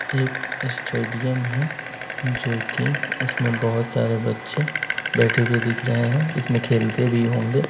एक स्टेडियम है जो कि उसमें बहुत सारे बच्चें बैठे हुए दिख रहे हैं इसमें खेलते भी होंगे ।